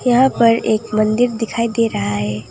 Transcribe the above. यहां पर एक मंदिर दिखाई दे रहा है।